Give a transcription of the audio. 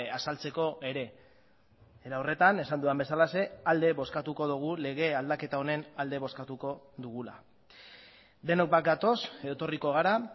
azaltzeko ere era horretan esan dudan bezalaxe alde bozkatuko dugu lege aldaketa honen alde bozkatuko dugula denok bat gatoz edo etorriko gara